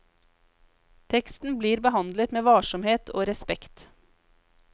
Teksten blir behandlet med varsomhet og respekt.